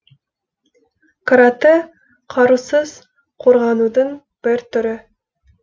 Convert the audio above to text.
каратэ қарусыз қорғанудың бір түрі